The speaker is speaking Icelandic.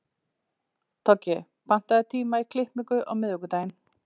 Toggi, pantaðu tíma í klippingu á miðvikudaginn.